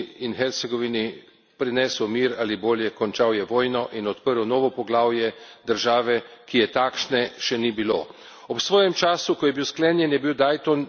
Sporazum iz Daytona je Bosni in Hercegovini prinesel mir ali bolje, končal je vojno in odprl novo poglavje države, ki je takšne še ni bilo.